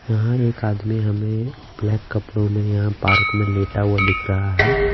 यहाँ एक आदमी हमें ब्लैक कपड़ों में यहाँ पार्क में लेटा हुआ दिख रहा हैं।